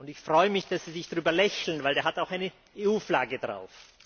Ich freue mich, dass Sie darüber lächeln, denn er hat auch eine EU Flagge drauf.